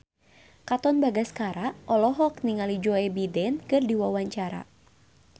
Katon Bagaskara olohok ningali Joe Biden keur diwawancara